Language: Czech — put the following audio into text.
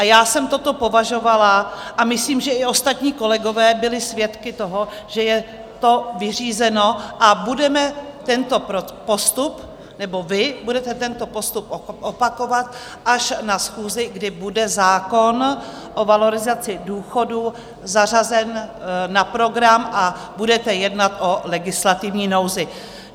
A já jsem toto považovala, a myslím, že i ostatní kolegové byli svědky toho, že je to vyřízeno a budeme tento postup, nebo vy budete tento postup opakovat až na schůzi, kdy bude zákon o valorizaci důchodů zařazen na program a budete jednat o legislativní nouzi.